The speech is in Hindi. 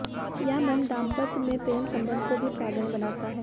यह मंत्र दांपत्य में प्रेम संबंध को भी प्रगाढ़ बनाता है